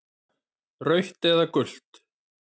Rautt eða gult?